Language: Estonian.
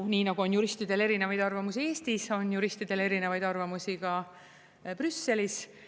Nii nagu on juristidel erinevaid arvamusi Eestis, on juristidel erinevaid arvamusi ka Brüsselis.